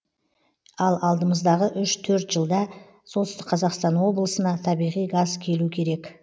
ал алдымыздағы үш төрт жылда солтүстік қазақстан облысына табиғи газ келу керек